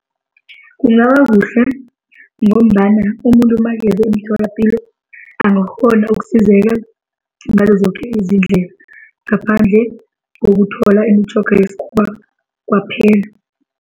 Kungaba kuhle ngombana umuntu makeze emtholapilo angakghona ukusizeka ngazozoke izindlela ngaphandle ngokuthola imitjhoga yesikhuwa kwaphela.